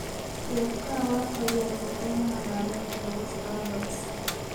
teeb kawaat agenge en magawet nebo starbucks